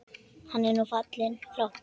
Hann er nú fallinn frá.